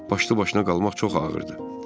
Başlı-başına qalmaq çox ağırdır.